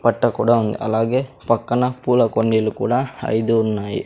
పట్టకూడా ఉంది అలాగే పక్కన పూల కొండీలు కూడా ఐదు ఉన్నాయి.